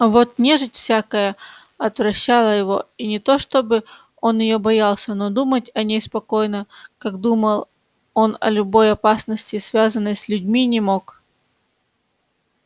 а вот нежить всякая отвращала его и не то чтобы он её боялся но думать о ней спокойно как думал он о любой опасности связанной с людьми не мог